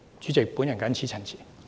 主席，我謹此陳辭。